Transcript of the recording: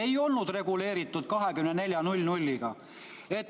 Ei olnud reguleeritud kella 24-ni.